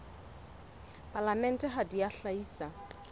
palamente ha di a hlahisa